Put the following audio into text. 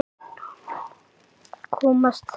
Komast þeir???